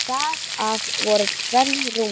Þar af voru tvenn rúmföt.